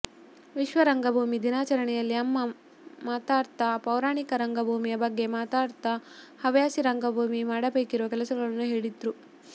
ವಿಶ್ವ ರಂಗಭೂಮಿ ದಿನಾಚರಣೆಯಲ್ಲಿ ಅಮ್ಮ ಮಾತಾಡ್ತಾ ಪೌರಾಣಿಕ ರಂಗಭೂಮಿಯ ಬಗ್ಗೆ ಮಾತಾಡುತ್ತಾ ಹವ್ಯಾಸಿ ರಂಗಭೂಮಿ ಮಾಡಬೇಕಿರುವ ಕೆಲಸಗಳನ್ನು ಹೇಳ್ತಿದ್ರು